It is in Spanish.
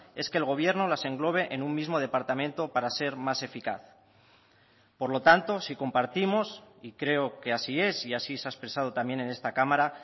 es que el gobierno las englobe en un mismo departamento para ser más eficaz por lo tanto si compartimos y creo que así es y así se ha expresado también en esta cámara